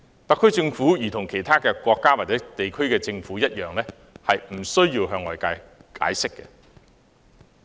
特區政府如同其他國家或政府一樣，不需要向外界解釋。